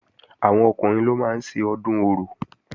Àwọn Ọkùnrin ló máa ń ṣe Ọdún Orò